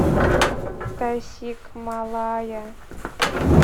тасикмалая